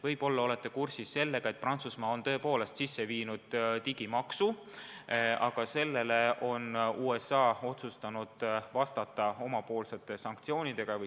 Võib-olla olete kursis, et Prantsusmaa on juba kehtestanud digimaksu ja USA on otsustanud vastata sellele omapoolsete sanktsioonidega.